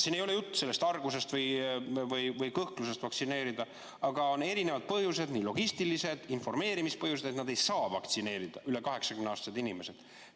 Siin ei ole jutt argusest või kõhklusest vaktsineerida, aga on erinevad põhjused, nii logistilised kui ka informeerimist puudutavad, et nad ei saa vaktsineerida, need üle 80‑aastased inimesed.